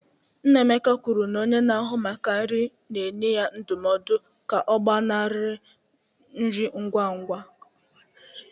Nnamaka kwuru na onye na-ahụ maka nri na-enye ya ndụmọdụ ka ọ gbanarị nri ngwa ngwa.